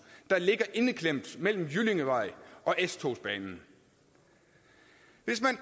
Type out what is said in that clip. der ligger indeklemt mellem jyllingevej og s togsbanen hvis man